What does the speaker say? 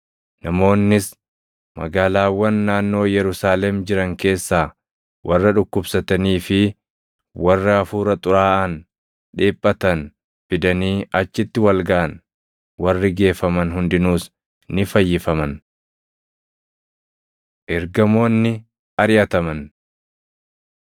Namoonnis magaalaawwan naannoo Yerusaalem jiran keessaa warra dhukkubsatanii fi warra hafuura xuraaʼaan dhiphatan fidanii achitti wal gaʼan; warri geeffaman hundinuus ni fayyifaman. Ergamoonni Ariʼataman